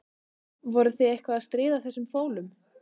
Voruð þið eitthvað að stríða þessum fólum?